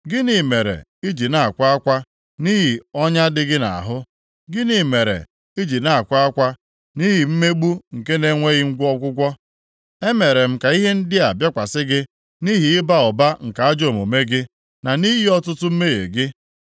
Gịnị mere i ji na-akwa akwa nʼihi ọnya dị gị nʼahụ? Gịnị mere i ji na-akwa akwa nʼihi ihe mgbu nke na-enweghị ọgwụgwọ? Emere m ka ihe ndị a bịakwasị gị nʼihi ịba ụba nke ajọ omume gị, na nʼihi ọtụtụ mmehie gị.